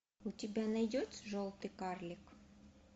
у тебя найдется желтый карлик